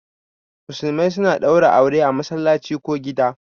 Musulmai suna ɗaura aure a masallaci ko gida